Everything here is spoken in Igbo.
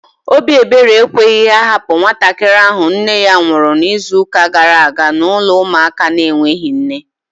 Obi ebere ekweghị ha hapụ nwatakịrị ahụ nne ya nwụrụ n'izuka gara aga n'ụlọ ụmụaka na enweghị nne